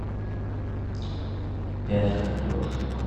пять картошек